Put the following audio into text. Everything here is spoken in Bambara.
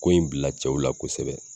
Ko in bila cɛw la kosɛbɛ.